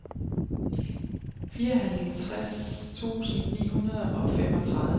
fireoghalvfjerds tusind ni hundrede og femogtredive